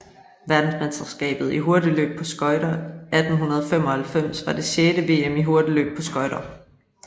Verdensmesterskabet i hurtigløb på skøjter 1895 var det sjette VM i hurtigløb på skøjter